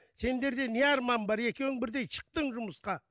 сендер де не арман бар екеуің бірдей шықтың жұмысқа